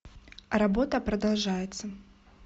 работа продолжается